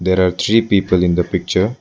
There are three people in the picture.